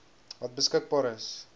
wat beskikbaar is